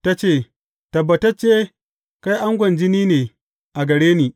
Ta ce, Tabbatacce kai angon jini ne a gare ni.